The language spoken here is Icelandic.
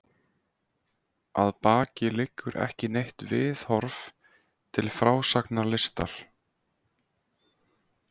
Að baki liggur ekki neitt viðhorf til frásagnarlistar.